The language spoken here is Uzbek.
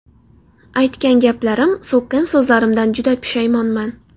Aytgan gaplarim, so‘kkan so‘zlarimdan juda pushaymonman.